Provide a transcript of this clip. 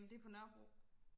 det på nørrebro